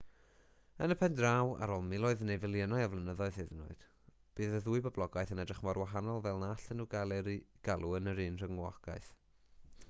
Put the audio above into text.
yn y pen draw ar ôl miloedd neu filiynau o flynyddoedd hyd yn oed bydd y ddwy boblogaeth yn edrych mor wahanol fel na allan nhw gael eu galw yr un rhywogaeth